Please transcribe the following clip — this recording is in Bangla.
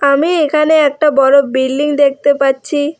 আমি এখানে একটা বড় বিল্ডিং দেখতে পাচ্ছি।